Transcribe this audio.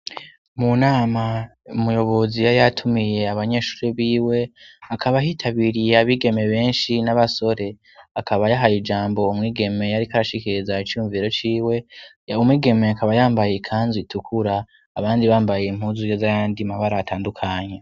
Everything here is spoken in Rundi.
Munama umuyobozi yari yatumiye abanyeshuri b'iwe akaba hitabiriye abigeme benshi n'abasore akaba yahaye ijambo umwigeme yarikarashikereza icyumviro cy'iwe ya umwigeme akaba yambaye ikandi itukura abandi bambaye impuzuyo z'ayandi mabara atandukanye.